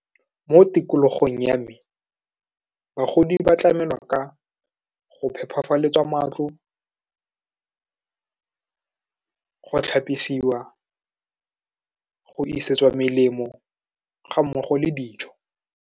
Mo tikologong ya me, bagodi ba tlamela ka go phephafaletswa matlo, go tlhapisiwa, go isetswa melemo, ga mmogo le dijo.